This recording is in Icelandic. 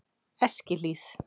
Eskihlíð